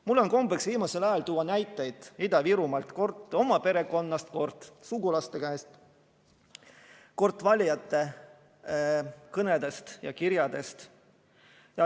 Mul on kombeks viimasel ajal tuua näiteid Ida-Virumaalt, kord oma perekonnast, kord sugulastest, kord valijate kõnedest ja kirjadest.